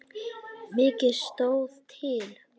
Mikið stóð til.